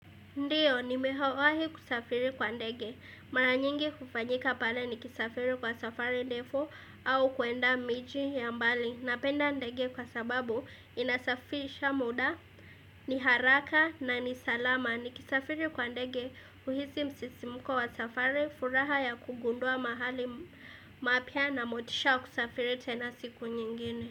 Ndiyo, nimewahi kusafiri kwa ndege. Mara nyingi hufanyika pale nikisafiri kwa safari ndefu au kwenda miji ya mbali. Napenda ndege kwa sababu inasafirisha muda ni haraka na ni salama. Nikisafiri kwa ndege huhisi msisimuko wa safari furaha ya kugundua mahali mapya na motisha wa kusafiri tena siku nyingine.